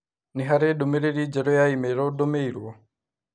Nĩ harĩ ndũmĩrĩri njerũ ya i-mīrū ndũmĩirũo?